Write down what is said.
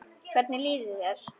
Hvernig líður þér?